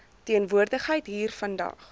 teenwoordigheid hier vandag